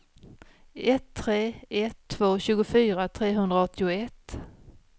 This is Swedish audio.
ett tre ett två tjugofyra trehundraåttioett